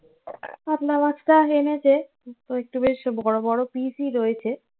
কাতলা মাছটা এনেছে. তো একটু বেশি বড় বড় piece ই রয়েছে